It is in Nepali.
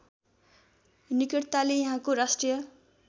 निकटताले यहाँको राष्ट्रिय